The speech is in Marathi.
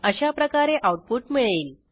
अशाप्रकारे आऊटपुट मिळेल